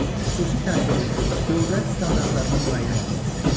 Xüsusi təhsilin dövlət standartlarının müəyyən olunması.